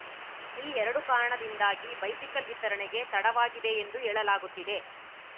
ಈ ಎರಡು ಕಾರಣದಿಂದಾಗಿ ಬೈಸಿಕಲ್‌ ವಿತರಣೆಗೆ ತಡವಾಗಿದೆ ಎಂದು ಹೇಳಲಾಗುತ್ತಿದೆ